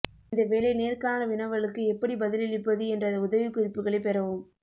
இந்த வேலை நேர்காணல் வினவலுக்கு எப்படி பதிலளிப்பது என்ற உதவிக்குறிப்புகளைப் பெறவும்